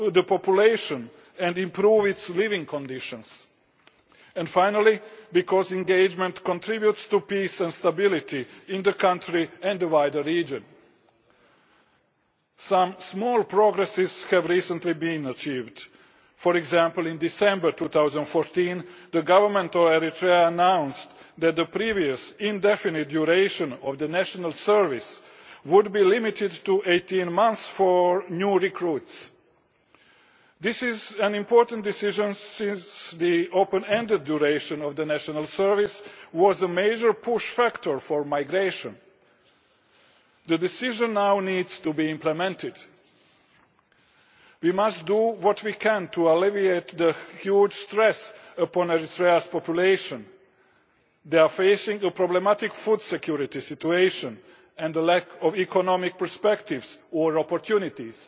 the population and improving living conditions. Lastly, engagement contributes to peace and stability in the country and the wider region. Some minor progress has recently been achieved for example, in December 2014 the Government of Eritrea announced that the previously indefinite duration of national service would be limited to 18 months for new recruits. This is an important decision, since the open ended duration of national service was a major push factor in migration. The decision now needs to be implemented. We must do what we can to alleviate the huge stress upon Eritrea's population. They are facing a problematic food security situation and a lack of economic prospects and opportunities.